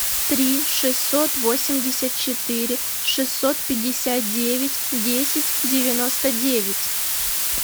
три шестьсот восемьдесят четыре шестьсот пятьдесят девять десять девяносто девять